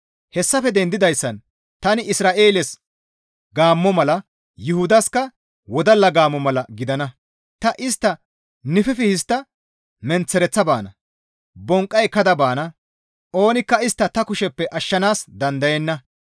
Hessafe dendidayssan tani Isra7eeles gaammo mala Yuhudaska wodalla gaammo mala gidana; ta istta nififi histta menththereththa yeggana; bonqqa ekkada baana; oonikka istta ta kusheppe ashshanaas dandayenna.